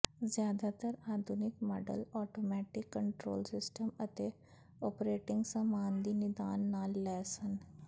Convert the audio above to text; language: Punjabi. ਜ਼ਿਆਦਾਤਰ ਆਧੁਨਿਕ ਮਾਡਲ ਆਟੋਮੈਟਿਕ ਕੰਟਰੋਲ ਸਿਸਟਮ ਅਤੇ ਓਪਰੇਟਿੰਗ ਸਾਮਾਨ ਦੀ ਨਿਦਾਨ ਨਾਲ ਲੈਸ ਹਨ